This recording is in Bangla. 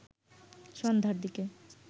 সন্ধ্যার দিকে